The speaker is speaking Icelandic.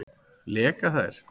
Leka þær?